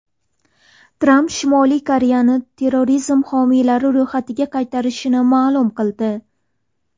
Tramp Shimoliy Koreyani terrorizm homiylari ro‘yxatiga qaytarishini ma’lum qildi.